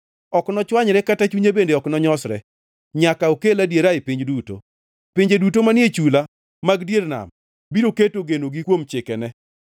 ok nochwanyre kata chunye bende ok nonyosre, nyaka okel adiera e piny duto. Pinje duto manie chula mag dier nam biro keto genogi kuom chikene.”